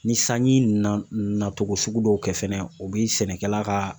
Ni sanji nana na togo sugu dɔw kɛ fɛnɛ ,u bi sɛnɛkɛla ka